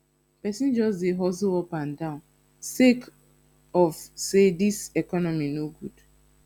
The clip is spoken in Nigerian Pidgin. pesin just dey hustle up and down sake of sey dis economy no good